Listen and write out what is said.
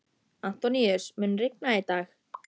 Antóníus, mun rigna í dag?